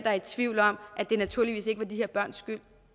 er i tvivl om at det naturligvis ikke var de her børns